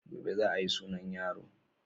Gobe za a yi sunan yaro.